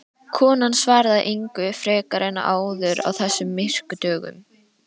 Konan svaraði engu frekar en áður á þessum myrku dögum.